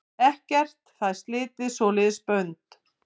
Ekkert fær slitið svoleiðis bönd.